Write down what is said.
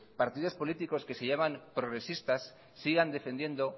partidos políticos que se llaman progresistas sigan defendiendo